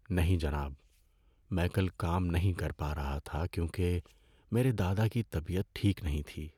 نہیں جناب، میں کل کام نہیں کر پا رہا تھا کیونکہ میرے دادا کی طبیعت ٹھیک نہیں تھی۔